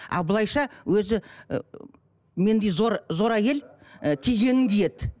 а былайша өзі мендей зор зор әйел і тигенін киеді